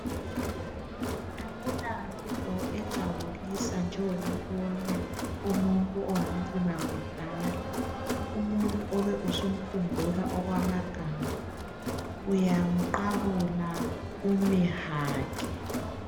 Akula nto ejabulisa njengokubona umuntu owamcina kudala umuntu obe usumkhumbula okwamagama uyamqabula umehage.